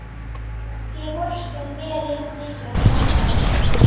Ég vorkenni mér jafnmikið og mamma þín.